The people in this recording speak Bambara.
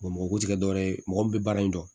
mɔgɔ ko ti kɛ dɔwɛrɛ ye mɔgɔ min bɛ baara in dɔn